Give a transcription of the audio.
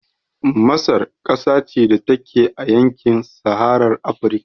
Masar ƙasa ce da take a yankin saharar Afrika